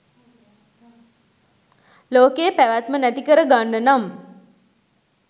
ලෝකයේ පැවැත්ම නැතිකර ගන්න නම්